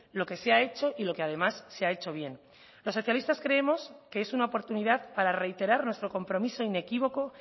lo que se ha hecho y lo que además se ha hecho bien los socialistas creemos que es una oportunidad para reiterar nuestro compromiso inequívoco